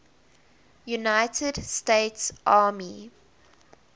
united states army